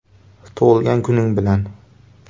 Tug‘ilgan kuning bilan!